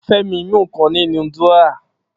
Femi mú nǹkan láti inú dúrọ́à